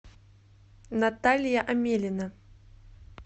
наталья амелина